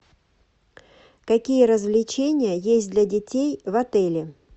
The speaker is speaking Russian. какие развлечения есть для детей в отеле